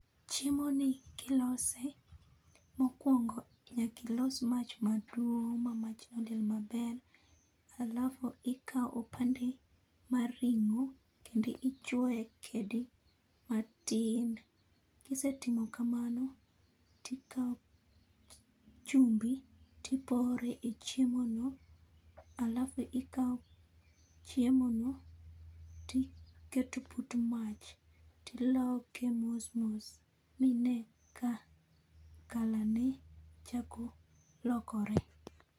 Chiemo ni kilose, mokuongo, nyaki ilos mach maduong' ma mach liel maber. alafu ikaw opande mar ring'o kendi ichuoe kedi matin. Kisetimo kamano, tikaw chumbi tipore e chiemo no, alafu ikaw chiemo no tiketo put mach tiloke mos mos minee ka color ne chako lokore